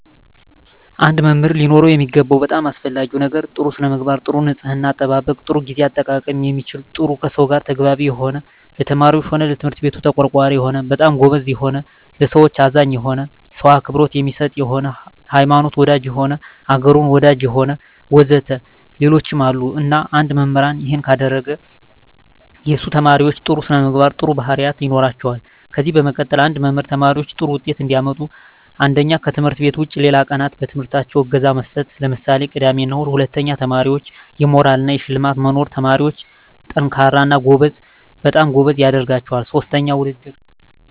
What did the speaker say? አንድ መምህር ሊኖረው የሚገባው በጣም አሰፈላጊ ነገር ጥሩ ስነምግባር ጥሩ ንጽሕና አጠባበቅ ጥሩ ግዜ አጠቃቀም የሚችል ጥሩ ከሰው ጋር ተግባቢ የሆነ ለተማሪዎች ሆነ ለትምህርት ቤቱ ተቆርቋሪ የሆነ በጣም ጎበዝ የሆነ ለሠዎች አዛኝ የሆነ ሰው አክብሮት የሚሰጥ የሆነ ሀይማኖት ወዳጅ የሆነ አገሩን ወዳጅ የሆነ ወዘተ ሌሎችም አሉ እና አንድ መምህራን እሄን ካረገ የሱ ተመራማሪዎች ጥሩ ስነምግባር ጥሩ ባህሪያት ይኖራቸዋል ከዚ በመቀጠል አንድ መምህር ተማሪዎች ጥሩ ውጤት እንዲያመጡ አንደኛ ከትምህርት ውጭ ሌላ ቀናት በትምህርታቸው እገዛ መስጠት ለምሳሌ ቅዳሜ እሁድ ሁለተኛ ለተማሪዎች የሞራል እና የሽልማት መኖር ተማሪዎች &ጠንካራ እና በጣም ጎበዝ ያደረጋቸዋል ሥስተኛ ውድድር